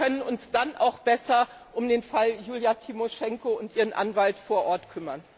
Wir können uns dann auch besser um den Fall Julija Tymoschenko und ihren Anwalt vor Ort kümmern.